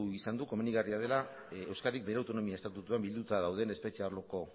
izan du komenigarria dela euskadik bere autonomia estatutuan bilduta dauden espetxe arloko